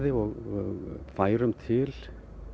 og færum til